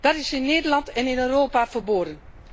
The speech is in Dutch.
Dat is in Nederland en in Europa verboden.